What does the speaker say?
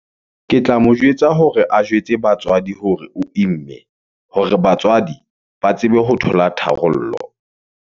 Ke tla mo jwetsa hore a jwetse batswadi hore o imme, hore batswadi ba tsebe ho thola tharollo.